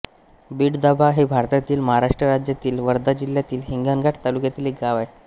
बिडदाभा हे भारतातील महाराष्ट्र राज्यातील वर्धा जिल्ह्यातील हिंगणघाट तालुक्यातील एक गाव आहे